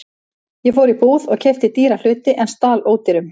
Ég fór í búð og keypti dýra hluti en stal ódýrum.